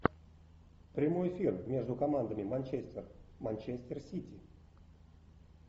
прямой эфир между командами манчестер манчестер сити